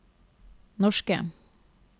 norske